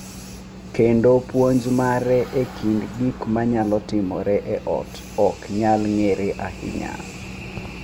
Kendo puonj mare e kind gik ma nyalo timore e ot ok nyal ng’ere ahinya.